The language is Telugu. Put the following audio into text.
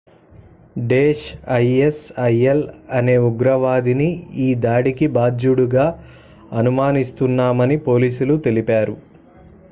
daesh isil అనే ఉగ్రవాదిని ఈ దాడికి బాధ్యుడిగా అనుమానిస్తున్నామని పోలీసులు తెలిపారు